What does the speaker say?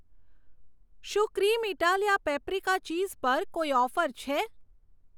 શું ક્રીમેતાલિયા paprika cheese પર કોઈ ઓફર છે?